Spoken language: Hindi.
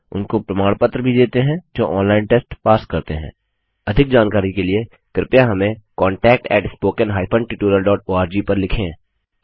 उनको प्रमाण पत्र भी देते हैं जो ऑनलाइन टेस्ट पास करते हैंअधिक जानकारी के लिए कृपया हमें contactspoken हाइफेन tutorialओआरजी पर लिखें